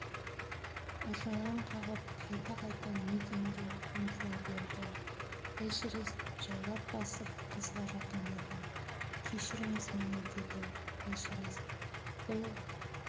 ыржалаң қағып қайта-қайта мигэнге ұмтыла берді эшерест жайлап басып қызға жақындады кешіріңіз мені деді эшерест бұл